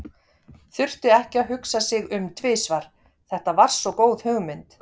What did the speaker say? Þurfti ekki að hugsa sig um tvisvar, þetta var svo góð hugmynd.